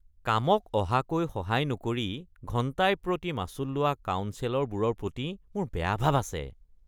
কামক অহাকৈ সহায় নকৰি ঘণ্টাই প্ৰতি মাচুল লোৱা কাউন্সেলৰবোৰৰ প্ৰতি মোৰ বেয়া ভাৱ আছে।